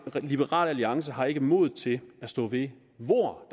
liberal alliance har ikke mod til at stå ved hvor